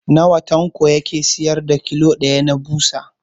Nawa Tanko yake siyar da kilo ɗaya na ɓusa?